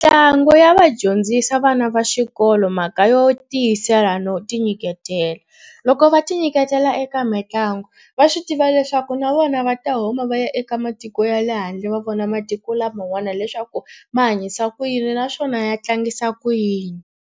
Ntlangu ya va dyondzisa vana va xikolo mhaka yo tiyisela no tinyiketela. Loko va ti nyiketela eka mitlangu va swi tiva leswaku na vona va ta huma va ya eka matiko ya le handle va vona matiko laman'wana leswaku va hanyisa ku yini naswona ya tlangisa ku yini.